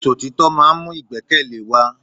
Ìṣọ̀títọ́ máà ń mú ìgbẹ́kẹ̀lé wa.